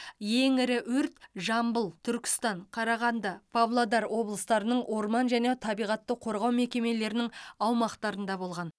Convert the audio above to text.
ең ірі өрт жамбыл түркістан қарағанды павлодар облыстарының орман және табиғатты қорғау мекемелерінің аумақтарында болған